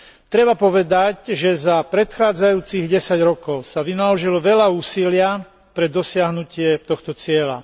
Treba povedať, že za predchádzajúcich desať rokov sa vynaložilo veľa úsilia pre dosiahnutie tohto cieľa.